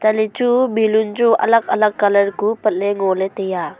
lahle chu balloon chu alak alak colour kuh patle ngole tai a.